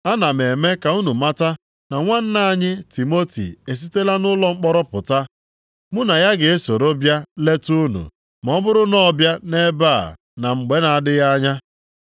Ana m eme ka unu mata na nwanna anyị Timoti esitela nʼụlọ mkpọrọ pụta. Mụ na ya ga-esoro bịa leta unu ma ọ bụrụ na ọ bịa nʼebe a na mgbe na-adịghị anya.